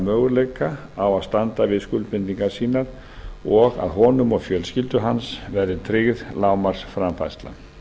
möguleika á að standa við skuldbindingar sínar og að honum og fjölskyldu hans verði tryggð lágmarksframfærsla